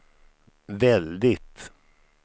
väldigt